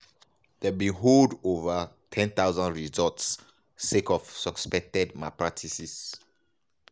dem bin hold ova 10000 results sake of suspected malpractices.